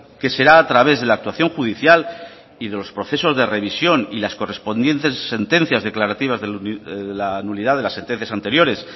que será a través de la actuación judicial y de los procesos de revisión y las correspondientes sentencias declarativas de la nulidad de las sentencias anteriores